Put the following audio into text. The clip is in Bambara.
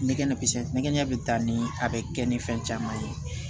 Nɛgɛ ɲɛ kisɛ nɛgɛ ɲɛ bi taa ni a bɛ kɛ ni fɛn caman ye